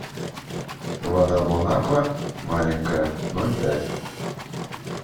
вода бонаква маленькая ноль пять